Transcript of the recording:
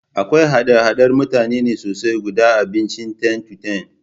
Akwai hada-hadar mutane ne sosai a gudan abincin ten-to-ten